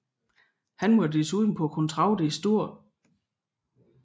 Han var desuden på kontrakt i St